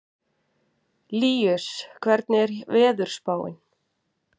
Líus, hvernig er veðurspáin?